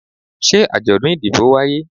se ajodun idibo waye?